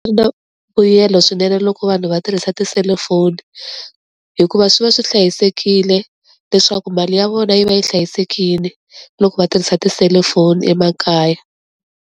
mbuyelo swinene loko vanhu va tirhisa tiselufoni hikuva swi va swi hlayisekile leswaku mali ya vona yi va yi hlayisekile loko va tirhisa tiselifoni emakaya.